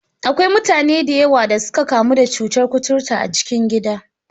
Akwai mutane da yawa da suka kamu da cutar kuturta a cikin gida.